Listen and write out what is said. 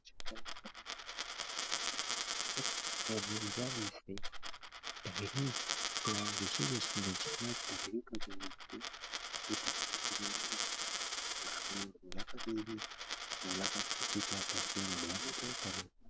ને બીજા દિવસે થહેરી ઋષિકેશ માં બીજા દિવસે